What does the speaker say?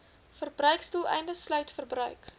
verbruiksdoeleindes sluit verbruik